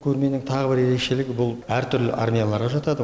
көрменің тағы бір ерекшелігі бұл әртүрлі армияларға жатады